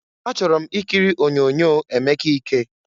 Achọrọ m ikiri onyoonyo Emeka ike.